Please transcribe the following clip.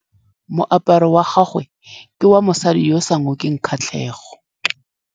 Moaparô wa gagwe ke wa mosadi yo o sa ngôkeng kgatlhegô.